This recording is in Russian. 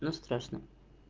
но страшно